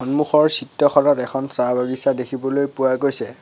সন্মুখৰ চিত্ৰখনত এখন চাহ বাগিচা দেখিবলৈ পোৱা গৈছে।